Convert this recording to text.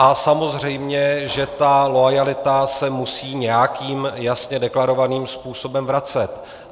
A samozřejmě že ta loajalita se musí nějakým jasně deklarovaným způsobem vracet.